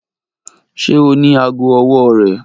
Ṣe o ni aago ọwọ rẹ?